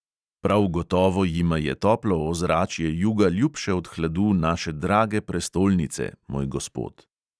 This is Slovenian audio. Prav gotovo jima je toplo ozračje juga ljubše od hladu naše drage prestolnice, moj gospod.